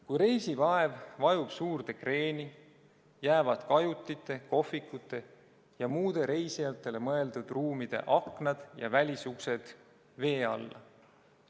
Kui reisilaev vajub suurde kreeni, jäävad kajutite, kohvikute ja muude reisijatele mõeldud ruumide aknad ja välisuksed vee alla.